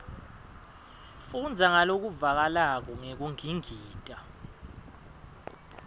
fundza ngalokuvakalako ngekungingita